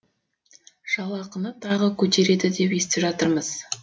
жалақыны тағы көтереді деп естіп жатырмыз